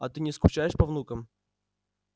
а ты не скучаешь по внукам